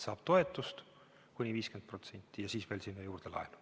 Saab toetust kuni 50% ja siis veel sinna juurde laenu.